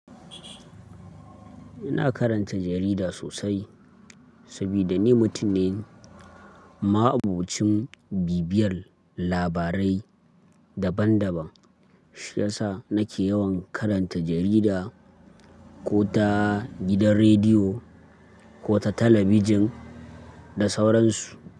Ina karanta jarida sosai saboda ni mutum ne ma'abocin bibiyar labarai daban daban. Shi yasa nake yawan karanta jarida ko ta gidan rediyo ko ta talabijin da sauran su.